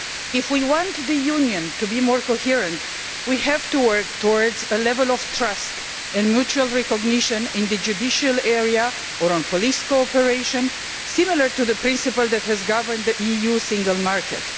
If we want the Union to be more coherent, we have to work towards a level of trust and mutual recognition in the judicial area or on police cooperation, similar to the principle which has governed the EU single market.